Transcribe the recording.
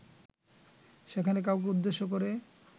সেখানে কাউকে উদ্দেশ্যে করে